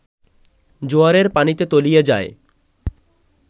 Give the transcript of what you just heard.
জোয়ারের পানিতে তলিয়ে যায়